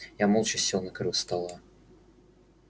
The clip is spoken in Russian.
я молча сел на краю стола